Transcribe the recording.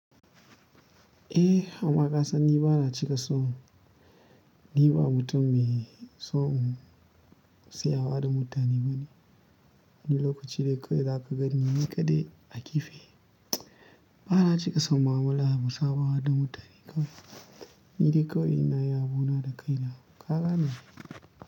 Eh amma kasan ni ba na cika son ni ba mutum me son siyawa da mutane bane. Ni lokaci dai kawai za ka ganni ni kaɗai a kaɗai a gefe. Ba na cika son mu'amala mu sabawa da mutane kawai. Ni dai kawai ina yin abuna da kaina, ka gane?